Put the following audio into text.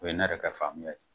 O ye ne yɛrɛ ka faamuya ye